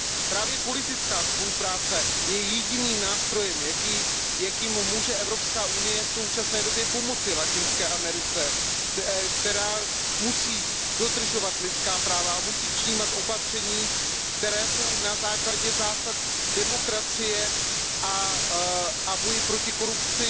Právě politická spolupráce je jediným nástrojem, jakým může Evropská unie v současné době pomoci Latinské Americe, která musí dodržovat lidská práva a musí přijímat opatření, která jsou na základě zásad demokracie a v rámci boje proti korupci